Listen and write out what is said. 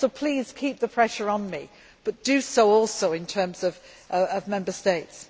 So please keep the pressure on me, but do so also in terms of Member States.